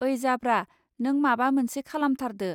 ओइ जाब्रा नों माबा मोनसे खालामथारदो